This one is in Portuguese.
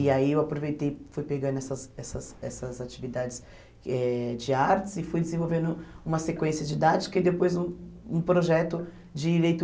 E aí eu aproveitei, fui pegando essas essas essas atividades eh de artes e fui desenvolvendo uma sequência didática e depois um um projeto de leitura.